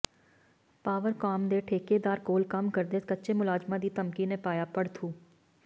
ਪਾਵਰਕਾਮ ਦੇ ਠੇਕੇਦਾਰ ਕੋਲ ਕੰਮ ਕਰਦੇ ਕੱਚੇ ਮੁਲਾਜ਼ਮਾਂ ਦੀ ਧਮਕੀ ਨੇ ਪਾਇਆ ਭੜਥੂ